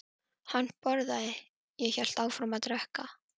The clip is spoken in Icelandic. Hann borðaði- ég hélt áfram að drekka.